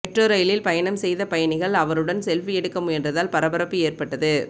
metro ரயிலில் பயணம் செய்த பயணிகள் அவருடன் செல்பி எடுக்க முயன்றதால் பரபரப்பு ஏற்பட்டது